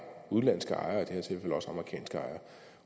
udenlandske ejere